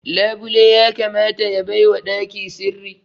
Labule ya kamata ya baiwa ɗaki sirri